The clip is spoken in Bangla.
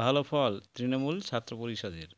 ভাল ফল তৃণমূল ছাত্র পরিষদের